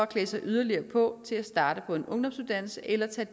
klædt yderligere på til at starte på en ungdomsuddannelse eller